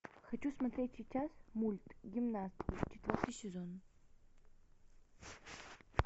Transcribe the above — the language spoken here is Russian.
хочу смотреть сейчас мульт гимнастки четвертый сезон